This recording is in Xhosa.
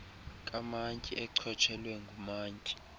kamantyi echotshelwe ngumantyi